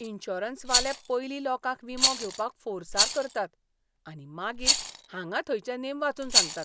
इंश्योरंसवाले पयलीं लोकांक विमो घेवपाक फोर्सार करतात आनी मागीर हांगा थंयचें नेम वाचून सांगतात.